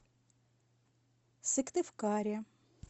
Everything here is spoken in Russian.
сыктывкаре